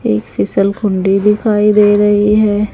एक फिसल कुंडी दिखाई दे रही है।